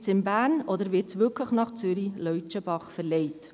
Bleibt es in Bern, oder wird es wirklich nach Zürich-Leutschenbach verlegt?